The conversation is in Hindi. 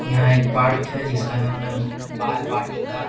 यहाँ एक पार्क है जिसका नाम है म बाल वाटिका।